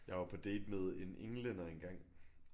Jeg var på date med en englænder engang